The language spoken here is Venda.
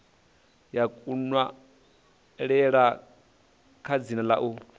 ya kunwalele kwa dzina u